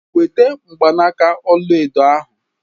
Weta mgbanaka ọla edo ahu.